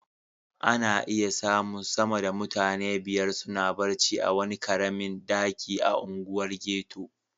Ana iya samun sama da mutane biyar suna barci a wani karamin daki a unguwar ghetto.